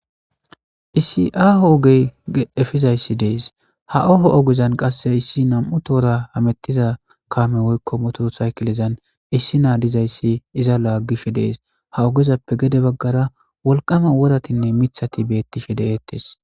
issi hoogey efizayssi dees ha oho ogezan qasse issi nam7u toora hamettiza kaame woykko motoo saykilezan issi naa dizayssi iza laaggife dees ha ogezappe gede baggara wolqama woratinne mithati beettife de7eettes